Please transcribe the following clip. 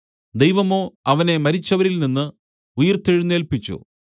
ദൈവമോ അവനെ മരിച്ചവരിൽനിന്ന് ഉയിർത്തെഴുന്നേല്പിച്ചു